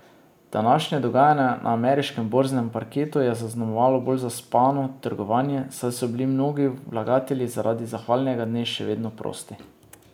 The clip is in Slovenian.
Današnje dogajanje na ameriškem borznem parketu je zaznamovalo bolj zaspano trgovanje, saj so bili mnogi vlagatelji zaradi zahvalnega dne še vedno prosti.